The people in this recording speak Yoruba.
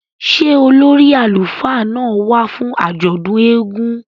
Ṣe ólòri àlufá náa wa fun àjọdun èègún?